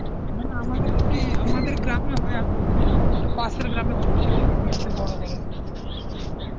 মানে আমাদের ওখানে আমাদের গ্রামে হয় এক দু দিনের কিন্তু ওটা পাশের গ্রামে হচ্ছে, ওরা করছে বড় করে.